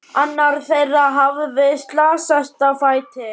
Annar þeirra hafði slasast á fæti.